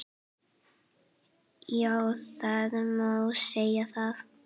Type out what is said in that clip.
Já það má segja það.